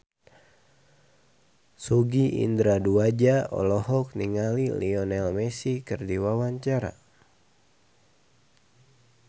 Sogi Indra Duaja olohok ningali Lionel Messi keur diwawancara